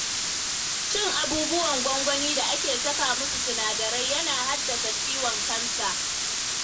Cin abubuwan gwangwani da ake saka musu sinadarai, yana haddasa ciwon kansa.